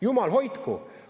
Jumal hoidku!